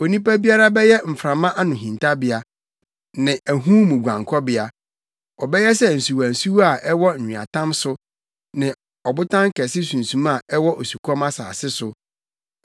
Onipa biara bɛyɛ mframa ano hintabea ne ahum mu guankɔbea, ɔbɛyɛ sɛ nsuwansuwa a ɛwɔ nweatam so ne ɔbotan kɛse sunsuma a ɛwɔ osukɔm asase so.